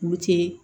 Buteli